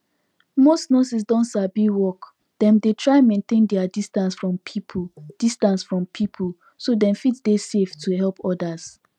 most nurses don sabi work dem dey try maintain their distance from people distance from people so dem fit dey safe to help others